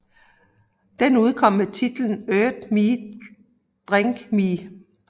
Den udkom med titlen Eat Me Drink Me